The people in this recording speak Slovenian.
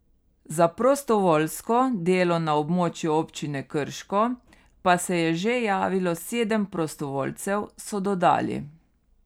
Za prostovoljsko delo na območju Občine Krško pa se je že javilo sedem prostovoljcev, so dodali.